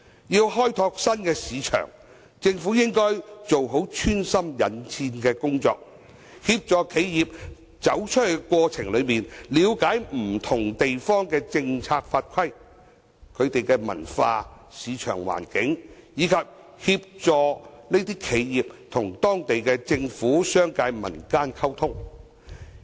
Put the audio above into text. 要開拓新市場，政府應該做好穿針引線的工作，協助企業在走出去的過程中，了解不同地方的政策法規、文化、市場環境，以及協助這些企業與當地政府、商界、民間溝通。